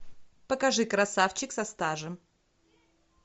покажи красавчик со стажем